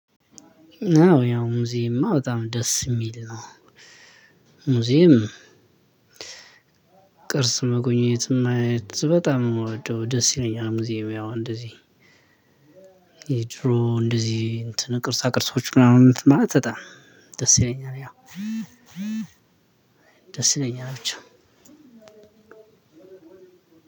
ነው ያው ሙዚየምእማ በጣም ደስ እሚል ነው። ሙዚየም ቅርጽ መጎኘት ማየት በጣም እምወደው ደስ ይለኛል ሙዚየም ያው እንደዚህ። ድሮ እንደዚህ እንትን ቅርሳ ቅርሶች ምናምን ማለት በጣም ደስ ይለኛል ያው። ደስ ይለኛል ብቻ።